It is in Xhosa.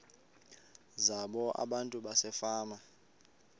zabo abantu basefama